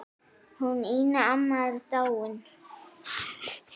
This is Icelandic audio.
Hún Ína amma er dáin.